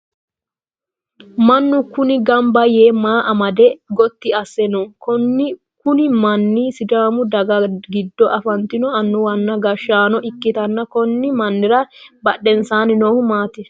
Mannu kunni gambaye maa amade goti ase no? Kunni manni sidaamu daga gido afantino annuwanna gashaano ikitanna konni mannira badhensaanni noohu maati?